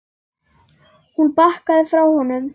Hún bakkaði frá honum.